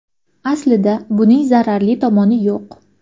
Aslida, buning zararli tomoni yo‘q.